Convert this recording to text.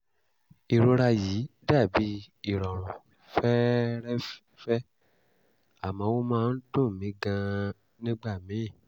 ìrora yìí dà bí ìrọ̀rùn fẹ́ẹ́rẹ́ẹ́fẹ́ àmọ́ ó máa ń dùn mí gan-an nígbà míì